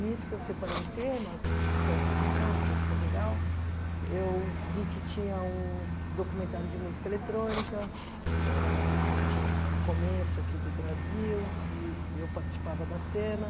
Nisso que eu separei em temas, que foi a exposição, que foi super legal, eu vi que tinha um documentário de música eletrônica, que eu era a única que tinha o começo aqui do Brasil, e eu participava da cena.